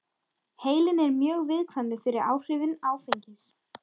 Heilinn er mjög viðkvæmur fyrir áhrifum áfengis.